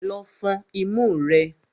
Lọ fọn imú rẹ!